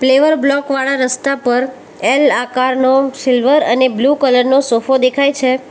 Flavour block વાળા રસ્તા પર એલ આકારનો સિલ્વર અને બ્લુ કલર નો સોફો દેખાય છે.